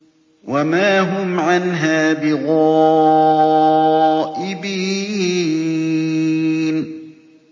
وَمَا هُمْ عَنْهَا بِغَائِبِينَ